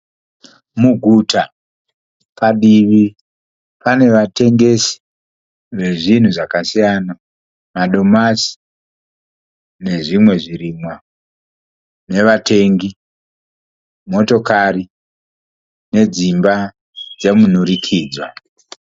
Muguta padivi pane vatengesi vezvinhu zvakasiyana, madomasi nezvimwe zvirimwa nevatengi, motokari nedzimba dzemunhurikidzwa.